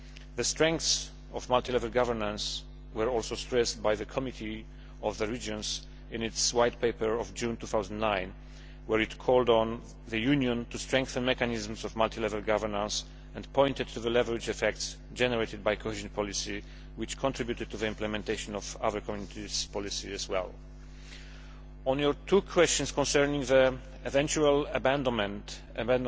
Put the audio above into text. The strengths of multi level governance were also stressed by the Committee of the Regions in its White Paper of June 2009, where it called on the Union to strengthen mechanisms of multi level governance and pointed to the leverage effects generated by cohesion policy, which contributed to the implementation of other Community policies as well. On your two questions concerning the eventual abandonment of